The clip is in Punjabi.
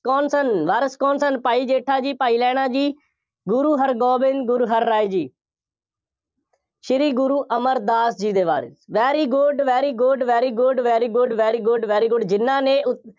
ਕੌਣ ਸਨ। ਵਾਰਿਸ ਕੌਣ ਸਨ। ਭਾਈ ਜੇਠਾ ਜੀ, ਭਾਈ ਲਹਿਣਾ ਜੀ, ਗੁਰੂ ਹਰਗੋਬਿੰਦ, ਗੁਰੂ ਹਰਰਾਏ ਜੀ, ਸ੍ਰੀ ਗੁਰੂ ਅਮਰਦਾਸ ਜੀ ਦੇ ਬਾਰੇ very good, very good, very good, very good, very good, very good ਜਿੰਨ੍ਹਾ ਨੇ ਉ